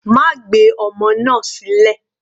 Má gbé ọmọ náà sílẹ̀.